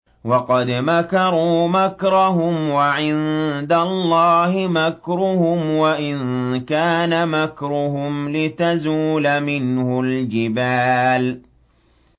وَقَدْ مَكَرُوا مَكْرَهُمْ وَعِندَ اللَّهِ مَكْرُهُمْ وَإِن كَانَ مَكْرُهُمْ لِتَزُولَ مِنْهُ الْجِبَالُ